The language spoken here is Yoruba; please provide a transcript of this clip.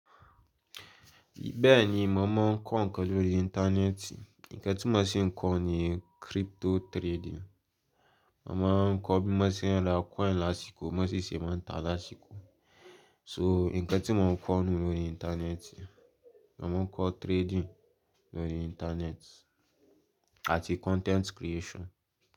Bẹ́ẹ̀ni mò mọ̀ n kọ́ nǹkan lórí ìntánẹ́ẹ̀tì. Ǹkàn tí mo si n kọ́ ni crypto trading. Mò máa n kọ́ bí mo ṣe n ra coin lásìkò, mó ṣèṣè máa n ta lásìkò. So, ǹkan tí mò n kọ́ nù lórí ìntánẹ́ẹ̀tì, mò mọ́ kọ́ trading lórí ìntánẹ́ẹ̀tì àti content creation.